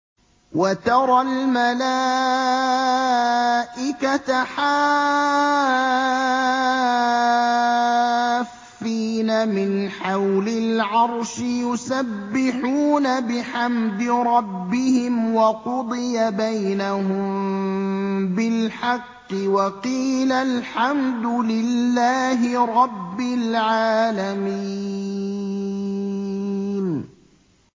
وَتَرَى الْمَلَائِكَةَ حَافِّينَ مِنْ حَوْلِ الْعَرْشِ يُسَبِّحُونَ بِحَمْدِ رَبِّهِمْ ۖ وَقُضِيَ بَيْنَهُم بِالْحَقِّ وَقِيلَ الْحَمْدُ لِلَّهِ رَبِّ الْعَالَمِينَ